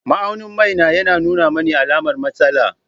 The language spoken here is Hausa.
Ma'aunin mai na yana nuna mani alamar matsala.